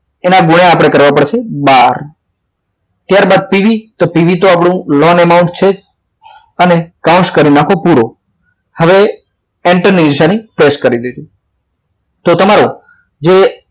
એના આપણે ગુણ્યા કરવા પડશે બહાર બાર ત્યારબાદ PV તો PV આપડું loan amount છે જ અને counce કરી નાખો પૂરો હવે enter ની નિશાની press કરી દેજો તો તમારો જે